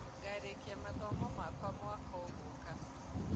Ngarĩkĩa mathomo makwa mwaka ũgũka